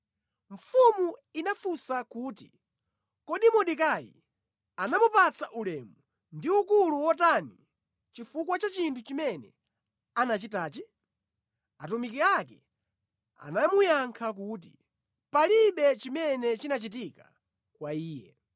Mfumu inafunsa kuti, “Kodi Mordekai anamupatsa ulemu ndi ukulu wotani chifukwa cha chinthu chimene anachitachi?” Atumiki ake anamuyankha kuti, “Palibe chimene chinachitika kwa iye.”